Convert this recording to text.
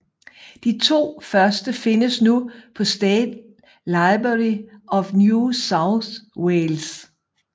De to første findes nu på State Library of New South Wales